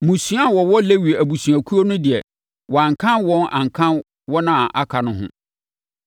Mmusua a wɔwɔ Lewi abusuakuo no deɛ, wɔankan wɔn anka wɔn a aka no ho.